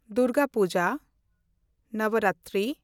Durga Puja (Navratri)